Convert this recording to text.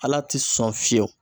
Ala tɛ sɔn fiyewu